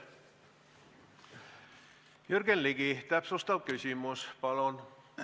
Jürgen Ligi, täpsustav küsimus palun!